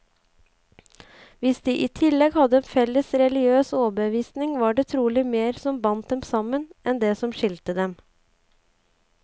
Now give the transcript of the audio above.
Hvis de i tillegg hadde en felles religiøs overbevisning, var det trolig mer som bandt dem sammen, enn det som skilte dem.